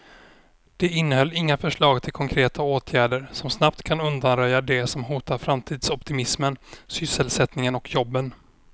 Det innehöll inga förslag till konkreta åtgärder som snabbt kan undanröja det som hotar framtidsoptimismen, sysselsättningen och jobben.